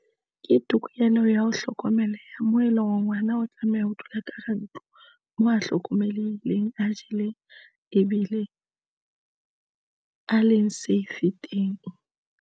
Ke tokelo ya ho hlokomeleha moo eleng hore ngwana o tlameha ho dula ka hara ntlo, moo a hlokomelehileng, a jeleng ebile a leng safe teng.